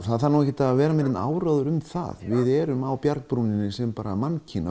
það þarf ekkert að vera með neinn áróður um það við erum á bjargbrúninni sem mannkyn